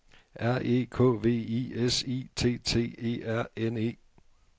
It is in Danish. R E K V I S I T T E R N E